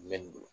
Mɛ nin don